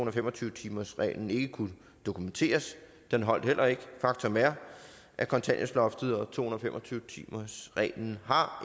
og fem og tyve timersreglen ikke kunne dokumenteres den holder heller ikke faktum er at kontanthjælpsloftet og to hundrede og fem og tyve timersreglen har